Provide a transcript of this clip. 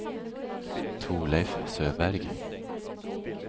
Torleif Søberg